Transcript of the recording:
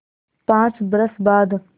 पाँच बरस बाद